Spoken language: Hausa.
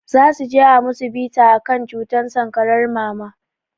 Zasuje a musu bita akan cutar sankarar mama